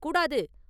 கூடாது!